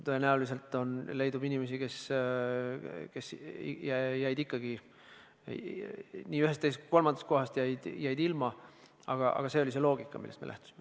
No tõenäoliselt leidub inimesi, kes jäid ikkagi nii ühest, teisest kui ka kolmandast võimalikust toetusest ilma, aga see oli loogika, millest me lähtusime.